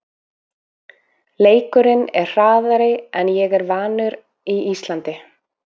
Leikurinn er hraðari en ég er vanur í Íslandi.